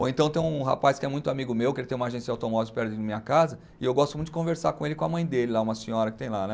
Ou então tem um rapaz que é muito amigo meu, que ele tem uma agência de automóveis perto da minha casa, e eu gosto muito de conversar com ele e com a mãe dele lá, uma senhora que tem lá né.